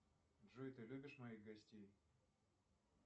джой ты любишь моих гостей